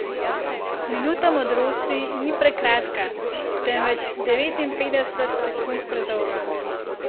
Minuta modrosti ni prekratka, temveč devetinpetdeset sekund predolga.